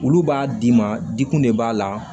Olu b'a d'i ma dikun de b'a la